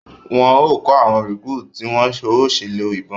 Wọn o kọ awọn recruit ti ń wón o ṣe lọ ibọn